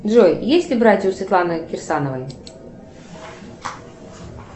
джой есть ли братья у светланы кирсановой